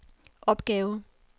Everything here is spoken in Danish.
opgave